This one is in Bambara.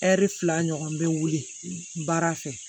Ɛri fila ɲɔgɔn bɛ wuli baara fɛ